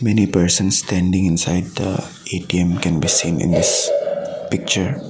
many persons standing inside the A_T_M can be seen in this picture.